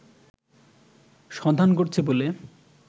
সন্ধান করছে বলে